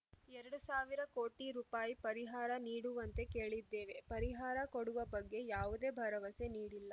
ಎರಡ್ ಸಾವಿರ ಕೋಟಿ ರೂಪಾಯಿ ಪರಿಹಾರ ನೀಡುವಂತೆ ಕೇಳಿದ್ದೇವೆ ಪರಿಹಾರ ಕೊಡುವ ಬಗ್ಗೆ ಯಾವುದೇ ಭರವಸೆ ನೀಡಿಲ್ಲ